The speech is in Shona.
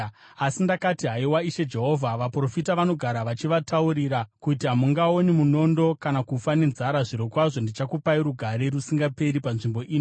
Asi ndakati, “Haiwa Ishe Jehovha, vaprofita vanogara vachivataurira kuti, ‘Hamungaoni munondo kana kufa nenzara. Zvirokwazvo ndichakupai rugare rusingaperi panzvimbo ino.’ ”